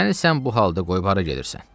Məni sən bu halda qoyub hara gedirsən?